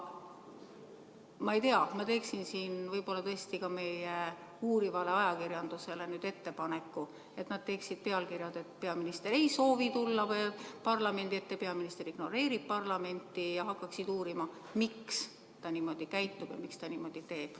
Ma ei tea, ma teeksin siin võib-olla tõesti ka meie uurivale ajakirjandusele ettepaneku, et nad teeksid pealkirjad, et peaminister ei soovi tulla parlamendi ette, peaminister ignoreerib parlamenti, ja hakkaksid uurima, miks ta niimoodi käitub ja miks ta nii teeb.